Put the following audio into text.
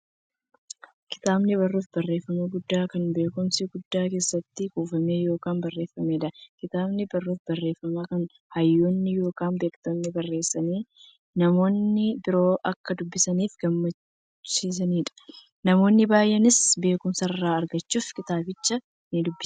Kitaabni barruu barreeffamaa guddaa, kan beekumsi guddaan keessatti kuufame yookiin barreefameedha. Kitaabni barruu barreeffamaa, kan hayyoonni yookiin beektonni barreessanii, namni biroo akka dubbisaniif gumaachaniidha. Namoonni baay'eenis beekumsa irraa argachuuf kitaabicha nidubbisu.